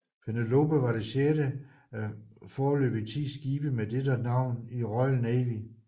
Penelope var det sjette af foreløbigt 10 skibe med dette navn i Royal Navy